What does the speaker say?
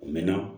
A mɛn na